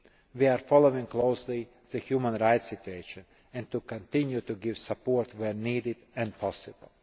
We are following closely the human rights situation and continue to give support where needed and possible.